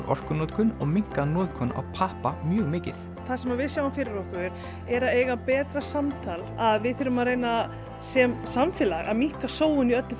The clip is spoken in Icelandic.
orkunotkun og minnkað notkun á pappa mjög mikið það sem við sjáum fyrir okkur er að eiga betra samtal að við þurfum að reyna sem samfélag að minnka sóun í öllu